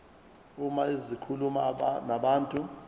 uma zikhuluma nabantu